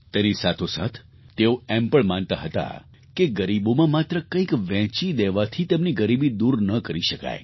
તેની સાથોસાથ તેઓ એમ પણ માનતા હતા કે ગરીબોમાં માત્ર કંઈક વહેંચી દેવાથી તેમની ગરીબી દૂર ન કરી શકાય